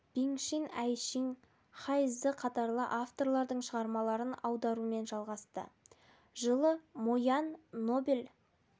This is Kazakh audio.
биң шин әй шиң хай зы қатарлы авторлардың шығармаларын аударуымен жалғасты жылы мо ян нобель